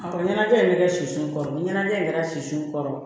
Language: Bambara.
Ɔ ɲɛnajɛ in bɛ kɛ sisu kɔrɔ ni ɲɛnajɛ in kɛra sisi kɔrɔ